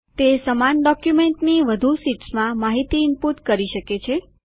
તે સમાન ડોક્યુમેન્ટની વધુ શીટ્સ માં માહિતી ઇનપુટ કરી શકે છે